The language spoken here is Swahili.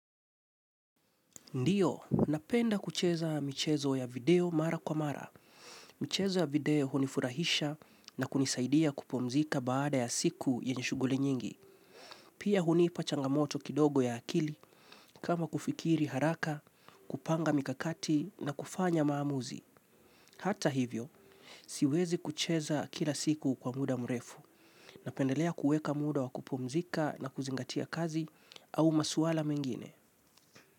Ndiyo, napenda kucheza michezo ya video mara kwa mara. Michezo ya video hunifurahisha na kunisaidia kupumzika baada ya siku yenye shuguli nyingi. Pia hunipa changamoto kidogo ya akili kama kufikiri haraka, kupanga mikakati na kufanya maamuzi. Hata hivyo, siwezi kucheza kila siku kwa muda mrefu. Napendelea kuweka muda wa kupumzika na kuzingatia kazi au masuala mengine.